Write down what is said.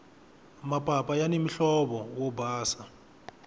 mapapa yani muhlovo wo basa